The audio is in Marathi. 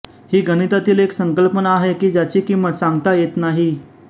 ही गणितातील एक संकल्पना आहे की ज्याची किंमत सांगता येत नाही